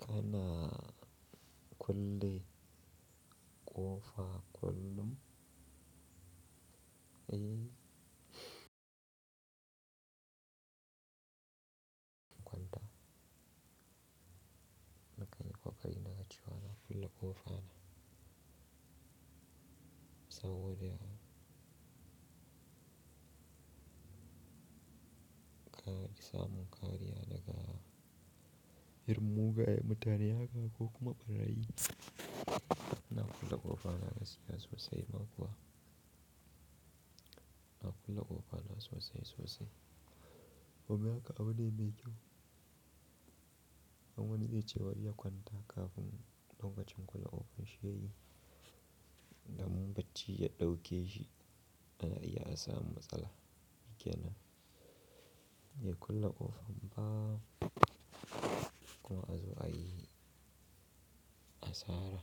Kana kulle ƙofa kullum? Eh. Kwanta. Na ƙan yi kokari na na cewa na, kulle ƙofa na. Saboda ka isa mun kariya daga irin mugaye mutane haka ko kuma barayi. Na kulle ƙofa na gaskiya sosai ma kuwa. Na kulle ƙofa na sosai sosai. Domin haka abu ne mai kyau. Don wani zai ce bari ya kwanta kafin lokacin kulle ƙofan shi ya yi. Da mun bacci ya ɗauke shi, an riga an samu matsala. Ke nan? Bai kulle ƙofan ba kuma a zo a yi asara.